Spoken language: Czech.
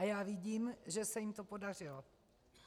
A já vidím, že se jim to podařilo.